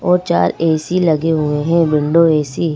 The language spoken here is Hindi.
और चार ए_सी लगे हुए हैं विंडो ए_सी।